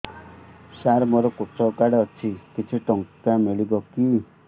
ସାର ମୋର୍ କୃଷକ କାର୍ଡ ଅଛି କିଛି ଟଙ୍କା ମିଳିବ କି